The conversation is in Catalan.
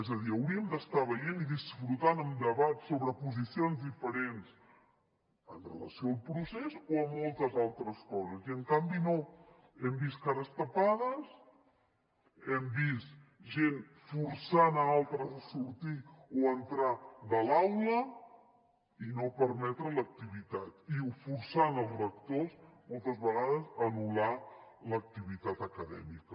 és a dir hauríem d’estar veient i disfrutant amb debats sobre posicions diferents amb relació al procés o a moltes altres coses i en canvi no hem vist cares tapades hem vist gent forçant a altres a sortir o a entrar de l’aula i no permetre l’activitat i o forçant els rectors moltes vegades a anul·lar l’activitat acadèmica